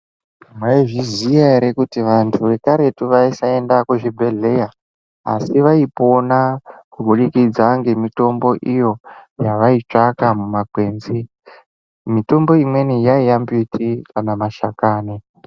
Maizviziva here kuti vantu vekarutu vaisaendayo kuzvibhedhlera asi vaipona kubudikidza mitombo iyo yavaitsvaka mumakwenzi mitombo iyi yaiva mashakani.